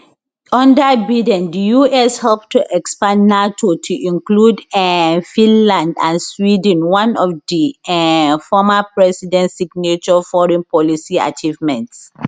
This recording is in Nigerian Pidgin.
under biden the us help to expand nato to include um finland and sweden one of di um former president signature foreign policy achievements